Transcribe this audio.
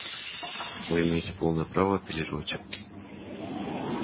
вы имеете полное право апеллировать